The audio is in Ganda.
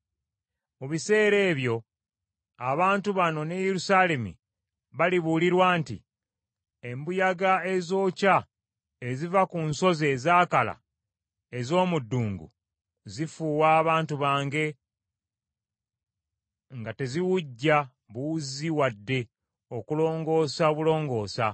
Mu biseera ebyo abantu bano ne Yerusaalemi balibuulirwa nti, “Embuyaga ezookya eziva ku nsozi ezaakala ez’omu ddungu zifuuwa abantu bange nga teziwujja buwuzzi wadde okulongoosa obulongoosa